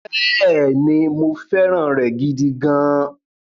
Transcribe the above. Bẹ́ẹ̀ni, mo fẹ́ràn rẹ̀ gidi gan-an.